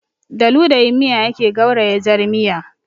Da ludayin miya ake gauraya jar miya